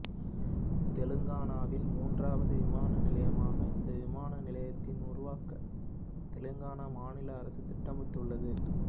தெலங்காணாவில் மூன்றாவது விமான நிலையமாக இந்த விமான நிலையத்தினை உருவாக்க தெலங்காணா மாநில அரசு திட்டமிட்டுள்ளது